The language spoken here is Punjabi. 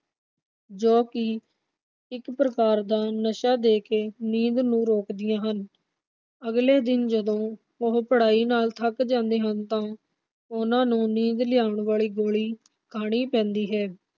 ਜੋ ਕਿ ਇਕ ਪ੍ਰਕਾਰ ਦਾ ਨਸ਼ਾ ਦੇ ਕੇ ਨੀਂਦ ਨੂੰ ਰੋਕਦੀਆਂ ਹਨ। ਅਗਲੇ ਦਿਨ ਜਦੋਂ ਉਹ ਪੜਾਈ ਨਾਲ ਥੱਕ ਜਾਂਦੇ ਹਨ ਤਾਂ ਉਨ੍ਹਾਂ ਨੂੰ ਨੀਂਦ ਲਿਆਉਣ ਵਾਲੀ ਗੋਲੀ ਖਾਣੀ ਪੈਂਦੀ ਹੈ।